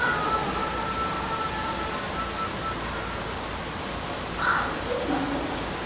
Viljum festa okkur í sessi